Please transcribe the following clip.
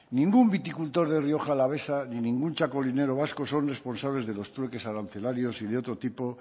ningún viticultor de rioja alavesa ni ningún txakolinero vasco son responsables de los trueques arancelarios y de otro tipo